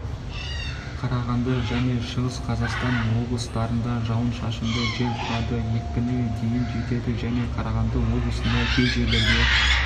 қарағанды және шығыс қазақстан облыстарында жауын-шашынды жел тұрады екпіні дейін жетеді және қарағанды облысында кей жерлерде